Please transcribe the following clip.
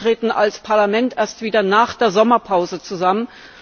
Wir treten als Parlament erst wieder nach der Sommerpause zusammen.